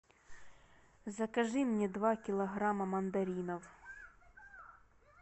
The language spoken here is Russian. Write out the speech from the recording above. закажи мне два килограмма мандаринов